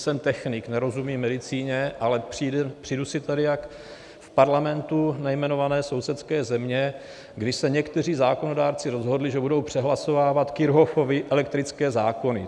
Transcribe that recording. Jsem technik, nerozumím medicíně, ale přijdu si tady jak v parlamentu nejmenované sousedské země, kdy se někteří zákonodárci rozhodli, že budou přehlasovávat Kirchhoffovy elektrické zákony.